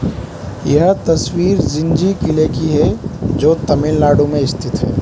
यह तस्वीर जिंजी किले की है जो तमिलनाडु में स्थित है।